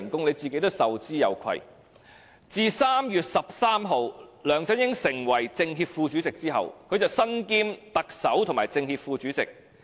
梁振英自今年3月13日成為政協副主席之後，身兼特首及政協副主席。